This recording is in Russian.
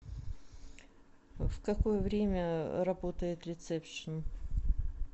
в какое время работает рецепшен